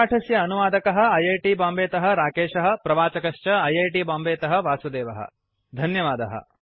अस्य पाठस्य अनुवादकः ऐ ऐ टी बांबेतः राकेशः प्रवाचकश्च ऐ ऐ टी बांबेतः वासुदेवः धन्यवादः